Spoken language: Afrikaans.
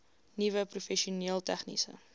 nuwe professioneel tegniese